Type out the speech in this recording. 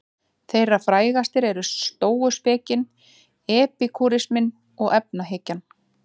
Þeirra frægastar eru stóuspekin, epikúrisminn og efahyggjan.